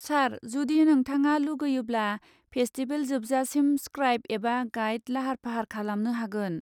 सार जुदि नोंथाङा लुगैयोब्ला, फेस्टिबेल जोबसाजिम स्क्राइब एबा गाइड लाहार फाहार खालामनो हागोन।